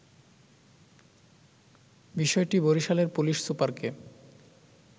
বিষয়টি বরিশালের পুলিশ সুপারকে